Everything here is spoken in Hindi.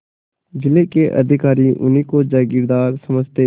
जिले के अधिकारी उन्हीं को जमींदार समझते